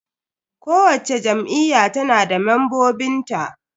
Kowacce Jam'iyya tana da membobin ta.